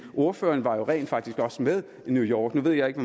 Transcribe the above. ordføreren var jo rent faktisk også med i new york vi var jo ikke